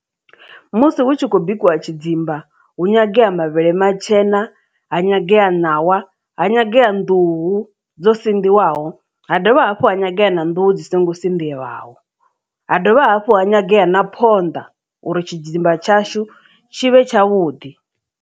Musi hu tshi khou bikiwa tshidzimba hu nyangea mavhele matshena ha nyangea ṋawa ha nyangea nḓuhu dzo sinḓiwaho ha dovha hafhu ha nyangea na nḓuhu dzi songo dzindelaho ha dovha hafhu ha nyangea na phonḓa uri tshidzimba tshashu tshi vhe tshavhuḓi.